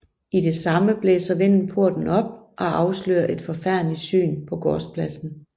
I det samme blæser vinden porten op og afslører et forfærdeligt syn på gårdspladsen